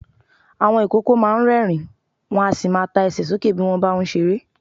Àwọn ìkókó máa ń rẹ́ẹ̀rín, wọn a sì ta Ẹsẹ̀ sókè bí wọ́n bá ń ṣeré.